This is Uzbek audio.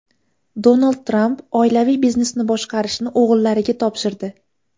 Donald Tramp oilaviy biznesni boshqarishni o‘g‘illariga topshirdi.